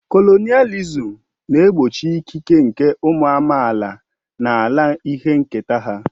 Kolonịalịzim na-egbochi ịkịke nke ụmụ amaala n'ala nke ihe nketa ha.